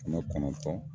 Kɛmɛ kɔnɔntɔn